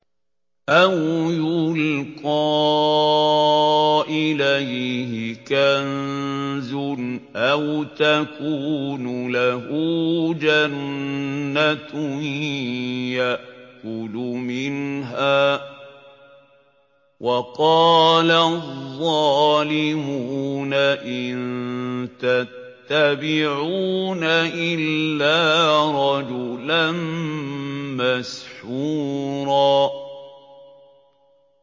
أَوْ يُلْقَىٰ إِلَيْهِ كَنزٌ أَوْ تَكُونُ لَهُ جَنَّةٌ يَأْكُلُ مِنْهَا ۚ وَقَالَ الظَّالِمُونَ إِن تَتَّبِعُونَ إِلَّا رَجُلًا مَّسْحُورًا